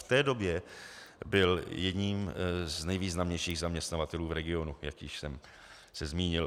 V té době byl jedním z nejvýznamnějších zaměstnavatelů v regionu, jak již jsem se zmínil.